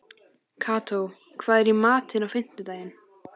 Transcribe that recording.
Kató, hvað er í matinn á fimmtudaginn?